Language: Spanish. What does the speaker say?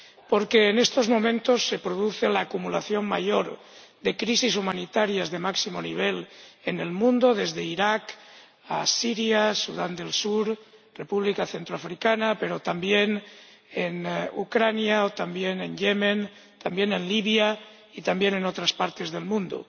Porque en estos momentos se produce la acumulación mayor de crisis humanitarias de máximo nivel en el mundo, desde Irak a Siria, Sudán del Sur, República Centroafricana, pero también en Ucrania o también en Yemen, también en Libia y también en otras partes del mundo.